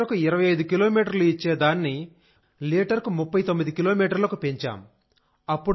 లీటరుకు 25 కిలోమీటర్లు ఇచ్చే దాన్ని లీటర్కు 39 కిలోమీటర్లకు పెంచాం